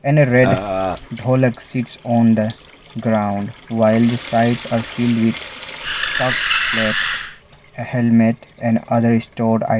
and a red dholak sits on the ground while the sides are filled with stocked plates a helmet and other stored ite --